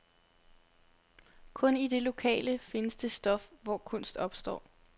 Kun i det lokale findes det stof, hvoraf kunst opstår.